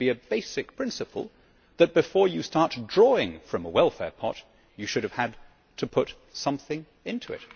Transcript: It should be a basic principle that, before you start drawing from a welfare pot, you should have had to put something into it.